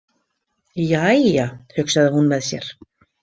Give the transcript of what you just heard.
Jæja, hugsaði hún með sér.